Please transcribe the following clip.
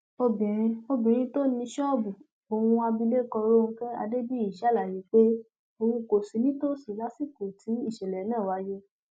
obìnrin obìnrin tó ní ṣọọbù ohun abilékọ ronke adébíyì ṣàlàyé pé òun kò sí nítòsí lásìkò tí ìṣẹlẹ náà wáyé